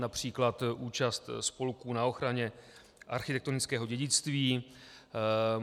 Například účast spolků na ochraně architektonického dědictví.